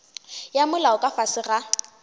ya molao ka fase ga